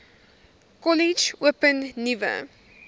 kollege open nuwe